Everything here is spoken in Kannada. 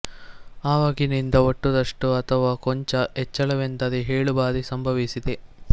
ಆವಾಗಿನಿಂದ ಒಟ್ಟು ರಷ್ಟು ಅಥವಾ ಕೊಂಚ ಹೆಚ್ಚಳವೆಂದರೆ ಏಳು ಬಾರಿ ಸಂಭವಿಸಿದೆ